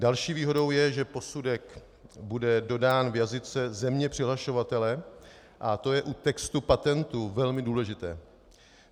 Další výhodou je, že posudek bude dodán v jazyce země přihlašovatele, a to je u textu patentů velmi důležité.